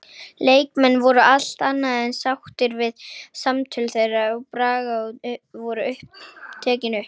Leikmenn voru allt annað en sáttir við að samtöl þeirra við Braga voru tekin upp.